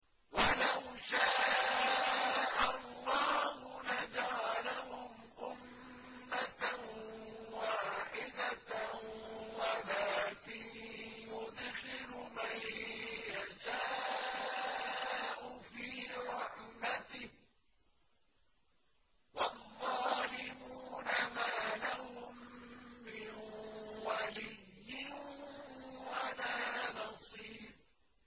وَلَوْ شَاءَ اللَّهُ لَجَعَلَهُمْ أُمَّةً وَاحِدَةً وَلَٰكِن يُدْخِلُ مَن يَشَاءُ فِي رَحْمَتِهِ ۚ وَالظَّالِمُونَ مَا لَهُم مِّن وَلِيٍّ وَلَا نَصِيرٍ